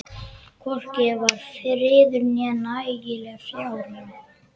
Hvorki var friður né nægileg fjárráð.